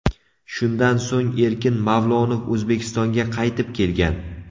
Shundan so‘ng Erkin Mavlonov O‘zbekistonga qaytib kelgan.